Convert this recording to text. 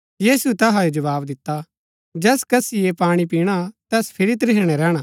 यीशुऐ तैहाओ जवाव दिता जैस कसी ऐह पाणी पिणा तैस फिरी त्रिहणै रैहणा